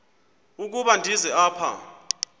ukuba ndize apha